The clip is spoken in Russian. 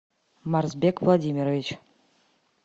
марсбек владимирович